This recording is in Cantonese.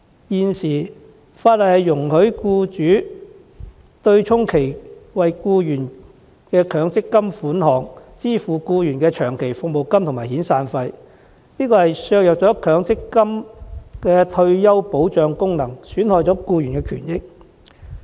現行法例容許僱主以其為僱員作出的強積金供款，支付僱員的長期服務金和遣散費，此舉削弱強積金的退休保障功能，損害僱員權益。